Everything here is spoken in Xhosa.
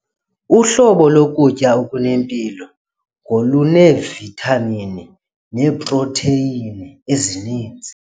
Uhlobo lokutya okunempilo ngoluneevithamini neeprotheyini ezininzi.